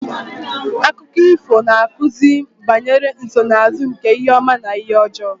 Akụkọ ifo na-akụzi banyere nsonaazụ nke ihe ọma na ihe ọjọọ